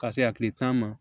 Ka se a kile tan ma